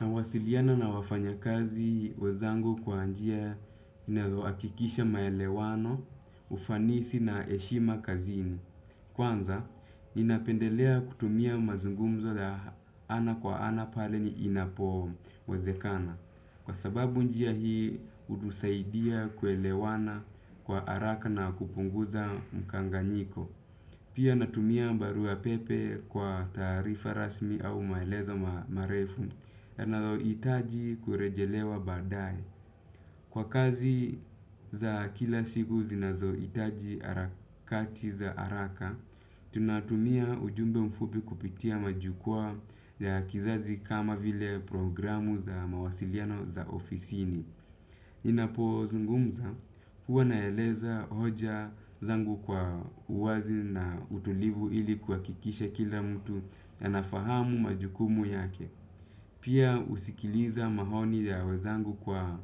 Nawasiliana na wafanyakazi wezangu kwa njia inayoo hakikisha maelewano, ufanisi na eshima kazini. Kwanza, ninapendelea kutumia mazungumzo ya ana kwa ana pale ni inapo wezekana. Kwa sababu njia hii, hutusaidia kuelewana kwa araka na kupunguza mkanganyiko. Pia natumia mbarua pepe kwa taarifa rasmi au maelezo marefu. Nazoitaji kurejelewa badae. Kwa kazi za kila siku zinazoitaji arakati za araka tunatumia ujumbe mfupi kupitia majukua ya kizazi kama vile programu za mawasiliano za ofisini ninapo zungumza huwa naeleza hoja zangu kwa uwazi na utulivu ili kuhakikisha kila mtu anafahamu majukumu yake. Pia usikiliza mahoni ya wezangu kwa